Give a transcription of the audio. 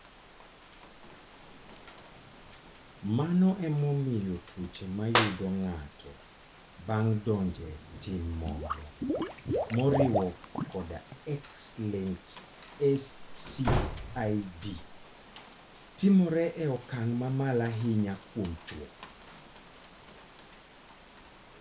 Mano emomiyo tuoche ma yudo ng'ato bang' donjo e tim moro, moriwo koda X-linked SCID, timore e okang' mamalo ahinya kuom chwo.